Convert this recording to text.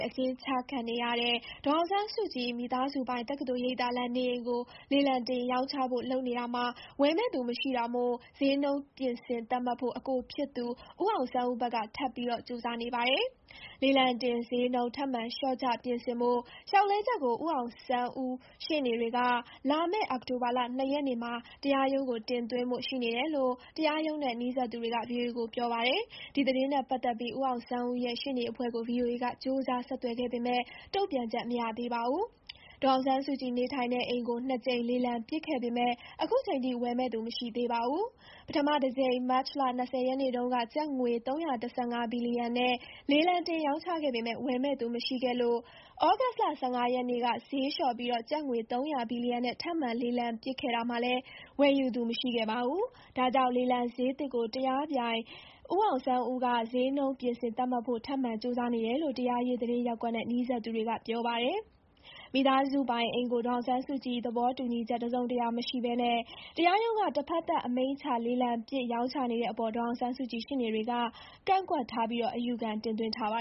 အကျဥ်းကျခံနေရတဲ့ ဒေါ်အောင်ဆန်းစုကြည် မိသားစုပိုင် တက္ကသိုလ်ရိပ်သာလမ်း နေအိမ်ကို လေလံတင်ရောင်းချဖို့ လုပ်နေတာမှာ ဝယ်မယ့်သူမရှိတာမို့ စျေးနှုန်း ပြင်ဆင်သတ်မှတ်ဖို့ အကိုဖြစ်သူ ဦးအောင်ဆန်းဦးဘက်က ထပ်ပြီးကြိုးစားနေပါတယ်။ လေလံတင် စျေးနှုန်း ထပ်မံ လျှော့ချ ပြင်ဆင်ဖို့ လျှောက်လဲချက်ကို ဦးအောင်ဆန်း ဦးရှေ့နေတွေက လာမယ့် အောက်တိုဘာ ၂ ရက်နေ့မှာ တရားရုံးကို တင်သွင်းဖို့ ရှိနေတယ်လို့ တရားရုံးနဲ့ နီးစပ်သူတွေက ဗွီအိုအေကို ပြောပါတယ်။ ဒီသတင်းနဲ့ပတ်သက်ပြီး ဦးအောင်ဆန်းဦးရဲ့ ရှေ့နေအဖွဲ့ကို ဗွီအိုအေက ကြိုးစား ဆက်သွယ်ပေမဲ့ တုံ့ပြန်ချက် မရသေးပါဘူး။ ဒေါ်အောင်ဆန်းစုကြည် နေထိုင်တဲ့အိမ်ကို ၂ ကြိမ် လေလံပစ်ခဲ့ပေမဲ့ ခုချိန်ထိ ဝယ်မယ့်သူ မရှိသေးပါဘူး။ ပထမတကြိမ် မတ်လ ၂၀ ရက်နေ့တုန်းက ကျပ်ငွေ ၃၁၅ ဘီလီယံနဲ့ လေလံတင်ရောင်းချခဲ့ပေမဲ့ ဝယ်မယ့်သူ မရှိခဲ့လို့ ဩဂုတ်လ ၁၅ ရက်နေ့က ဈေးလျှော့ပြီး ကျပ်ငွေ ၃၀၀ ဘီလီယံ နဲ့ ထပ်မံ လေလံပစ်ခဲ့တာမှာလည်း ဝယ်ယူသူမရှိခဲ့ပါဘူး။ ဒါကြောင့် လေလံစျေးသစ်ကို တရားပြိုင် ဦးအောင် ဆန်းဦးက စျေးနှုန်း ပြင်ဆင်သတ်မှတ်ဖို့ ထပ်မံကြိုးစားနေတယ်လို့ တရားရေး သတင်းရပ်ကွက်နဲ့ နီးစပ်သူတွေက ပြောပါတယ်။ မိသားစုပိုင် အိမ်ကို ဒေါ်အောင်ဆန်းစုကြည် သဘောတူညီချက် တစုံတရာ မရှိဘဲ တရားရုံးက တဖက်သတ် အမိန့်ချ လေလံပစ် ရောင်းချနေတဲ့အပေါ် ဒေါ်အောင်ဆန်းစုကြည် ရှေ့နေတွေကလည်း ကန့်ကွက်ထားပြီး အယူခံ တင်သွင်းထားပါ